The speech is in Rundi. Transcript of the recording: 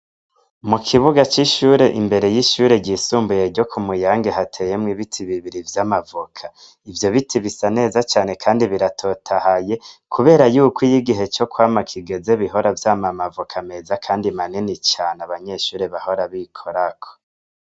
Mu kibuga c'ishure imbere y'ishure ryo ku Muyange hateyemwo ibiti bibiri vy'amavoka ivyo biti bisa neza cane kandi biratotahaye kubera yuko iyo igihe co kwama kigeze bihora vyama amavoka meza kandi manini cane abanyeshure bahora bikorako.